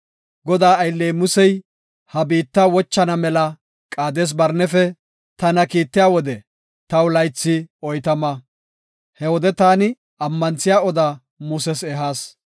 Godaa aylley Musey ha biitta wochana mela Qaades-Barnefe tana kiittiya wode taw laythi oytama. He wode taani ammanthiya oda Muses ehas.